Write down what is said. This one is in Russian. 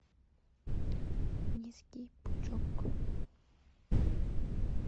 низкий пучок